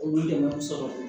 Olu dɛmɛ sɔrɔ